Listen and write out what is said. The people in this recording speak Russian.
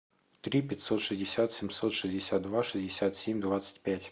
три пятьсот шестьдесят семьсот шестьдесят два шестьдесят семь двадцать пять